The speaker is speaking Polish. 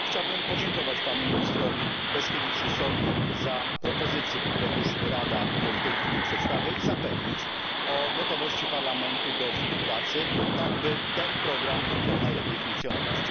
Chciałbym podziękować panu ministrowi Leškevičiusowi za propozycje, które Rada już przedstawia, i zapewnić o gotowości Parlamentu do współpracy, tak by ten program mógł jak najlepiej funkcjonować.